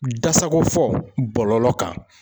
Da sago fɔ bɔlɔlɔ kan.